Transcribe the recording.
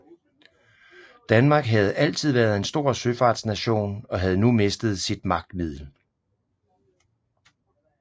Danmark havde altid været en stor søfartsnation og havde nu mistet sit magtmiddel